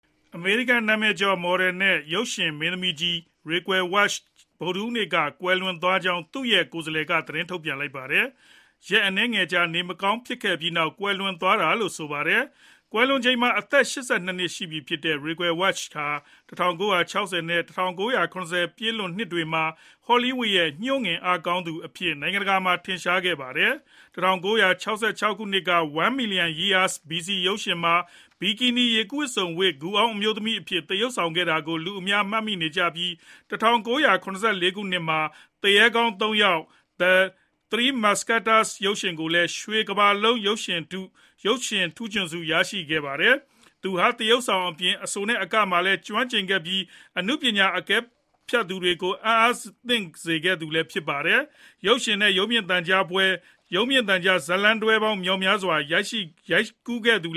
အမေရိကန်နာမည်ကျော် မော်ဒယ်နဲ့ရုပ်ရှင်မင်းသမီးကြီး Raquel Welch ဗုဒ္ဓဟူးနေ့က ကွယ်လွန်သွားကြောင်း သူ့ရဲ့ကိုယ်စားလှယ်က သတင်းထုတ်ပြန်လိုက်ပါတယ်။ ရက်အနည်းငယ်ကြာ နေမကောင်းဖြစ်ပြီးနောက် ကွယ်လွန်သွားတာလို့ ဆိုပါတယ်။ ကွယ်လွန်ချိန်မှာ အသက် ၈၂ နှစ် ရှိပြီဖြစ်တဲ့ Raquel Welch ဟာ ၁၉၆၀ နဲ့ ၁၉၇၀ ပြည့်လွန်နှစ်တွေမှာ ဟောလီးဝုဒ်ရဲ့ ညှို့ငင်အားကောင်းသူအဖြစ် နိုင်ငံတကာမှာ ထင်ရှားကျော်ကြားခဲ့သူပါ။ ၁၉၆၆ ခုနှစ်က One Million Years BC. ရုပ်ရှင်မှာ ဘီကီနီ ရေကူးဝတ်စုံဝတ်ပြီး ဂူအောင်း အမျိုးသမီးအဖြစ် သရုပ်ဆောင်ခဲ့တာကို လူအများကမှတ်မိနေကြပြီး ၁၉၇၄ ခုနှစ်မှာ သူရဲကောင်း ၃ ယောက် (The Three Musketeers) ရုပ်ရှင်ကားနဲ့လည်း ရွှေကမ္ဘာလုံး ရုပ်ရှင်ထူးချွန်ဆုရရှိခဲ့ပါတယ်။ သူဟာ သရုပ်ဆောင်အပြင် အဆိုနဲ့အကပိုင်းမှာလည်း ကျွမ်းကျင်ခဲ့ပြီး အနုပညာအကဲဖြတ်တွေကို အံ့အားသင့်စေခဲ့သူလည်း ဖြစ်ပါတယ်။ ရုပ်ရှင်နဲ့ ရုပ်မြင်သံကြားဇာတ်လမ်းတွဲများစွာ ရိုက်ကူးခဲ့ပြီး သူ့